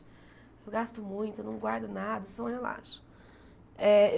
Eu gasto muito, eu não guardo nada, só relaxo. Eh